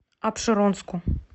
апшеронску